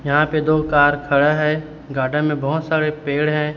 यहां पे दो कार खड़ा है गार्डन में बहोत सारे पेड़ हैं।